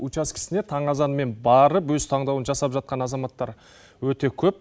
учаскесіне таң азанмен барып өз таңдауын жасап жатқан азаматтар өте көп